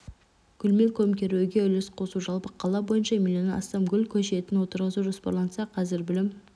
гүлмен көмкеруге үлес қосу жалпы қала бойынша миллоннан астам гүл көшетін отырғызу жоспарланса қазір білім